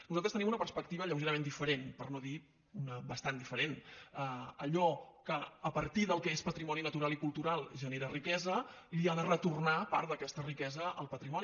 nosaltres tenim una perspectiva lleugerament diferent per no dir bastant diferent allò que a partir del que és patrimoni natural i cultural genera riquesa li ha de retornar part d’aquesta riquesa al patrimoni